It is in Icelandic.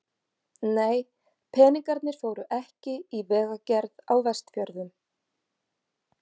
Nei, peningarnir fóru ekki í vegagerð á Vestfjörðum.